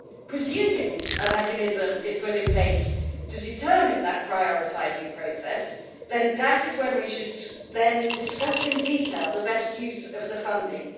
Presuming a mechanism is put in place to determine that prioritising process, then that is when we should discuss in detail the best use of the funding.